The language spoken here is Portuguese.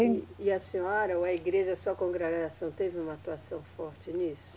E, e a senhora ou a igreja, sua congregação, teve uma atuação forte nisso?